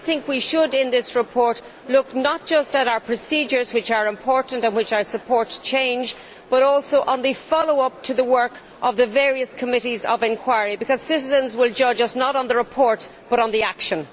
I think we should, in this report, look not just at our procedures, which are important and where I support change, but also at the follow up to the work of the various Committees of Inquiry, because citizens will judge us not on the report but on the action.